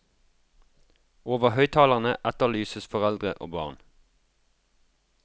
Over høyttalerne etterlyses foreldre og barn.